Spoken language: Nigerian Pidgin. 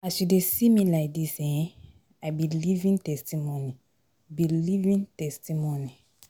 As you dey see me like dis um, I be living testimony be living testimony